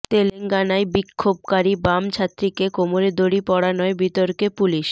তেলেঙ্গানায় বিক্ষোভকারী বাম ছাত্রীকে কোমরে দড়ি পড়ানোয় বিতর্কে পুলিশ